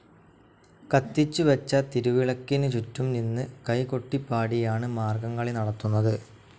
കത്തിച്ചുവച്ച തിരിവിളക്കിനു ചുറ്റും നിന്ന് കൈകൊട്ടിപാടിയാണ് മാർഗ്ഗംകളി നടത്തുന്നത്.